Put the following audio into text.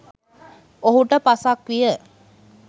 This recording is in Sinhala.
ඔහුට පසක් විය